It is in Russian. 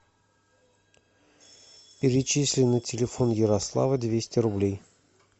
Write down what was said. перечисли на телефон ярослава двести рублей